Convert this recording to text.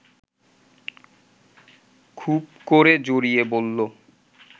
খুব করে জড়িয়ে বলল